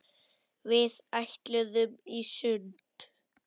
Við ætluðum í sund.